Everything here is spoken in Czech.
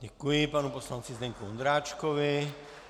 Děkuji panu poslanci Zdeňku Ondráčkovi.